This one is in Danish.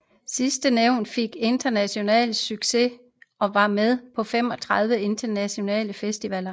Sidstnævnte fik international succes og var med på 35 internationale festivaler